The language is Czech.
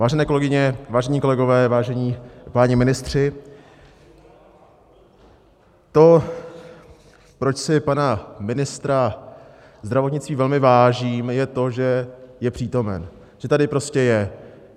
Vážené kolegyně, vážení kolegové, vážení páni ministři, to, proč si pana ministra zdravotnictví velmi vážím, je to, že je přítomen, že tady prostě je.